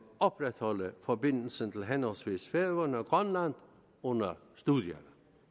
opretholde forbindelsen til henholdsvis færøerne og grønland under studierne